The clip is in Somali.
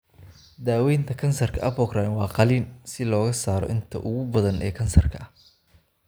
Daawaynta kansarka apocrine waa qalliin si looga saaro inta ugu badan ee kansarka ah.